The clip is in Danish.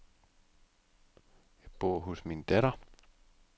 Jeg bor hos min datter.